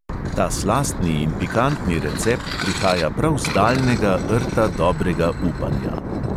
Ta slastni in pikantni recept prihaja prav z daljnega rta dobrega upanja.